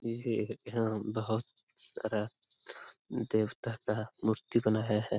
ये यहाँ बहुत सारा देवता का मूर्ति बनाया है।